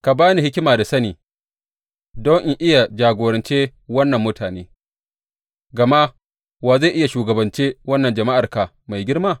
Ka ba ni hikima da sani, don in iya jagorance wannan mutane, gama wa zai iya shugabance wannan jama’arka mai girma?